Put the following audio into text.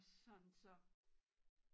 Sådan så